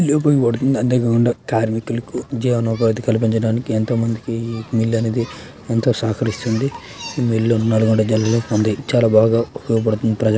కార్మికులకు జీవనోపాధి కల్పించడానికి ఎంతో మందికి మిల్ అనేది ఎంతో సహకరిస్తుంది. మిల్లు ఉన్నదన్నమాట జల్లి లెక్కుంది. చాలా బాగా ఉపయోగపడుతుంది. ప్రజ --